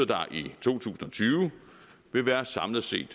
der er i to tusind og tyve vil være samlet set